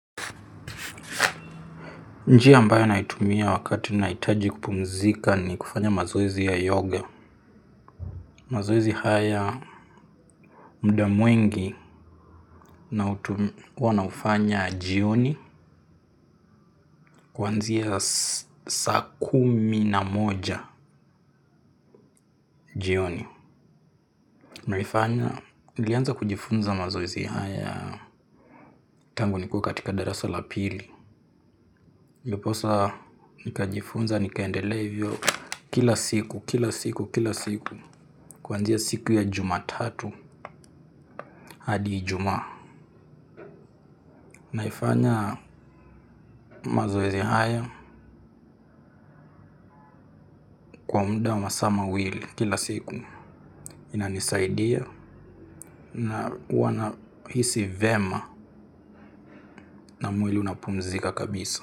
Njia ambayo naitumia wakati nahitaji kupumzika nikufanya mazoezi ya yoga. Mazoezi haya muda mwengi nautumia, huwa naufanya jioni. Kuanzia sa kumi na moja jioni. Naifanya, nilianza kujifunza mazoezi haya tangu nikiwa katika darasa la pili. Ndioposa, nikajifunza, nikaendelea hivyo kila siku, kila siku, kila siku. Kuanzia siku ya jumatatu hadi ijumaa naifanya mazoezi haya. Kwa muda masaa mawili kila siku inanisaidia na huwana hisi vema. Na mwili unapumzika kabisa.